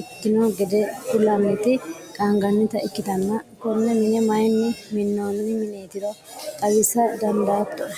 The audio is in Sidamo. ikkino gede kullanniti qaangannita ikkitanna, konne mine mayiinni minnoonni mineetiro xawisa dandaattoe?